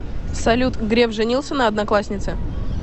салют греф женился на однокласснице